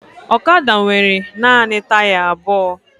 Ọkada nwere naanị taya abụọ